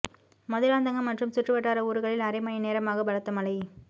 மதுராந்தகம் மற்றும் சுற்றுவட்டார ஊர்களில் அரை மணி நேரமாக பலத்த மழை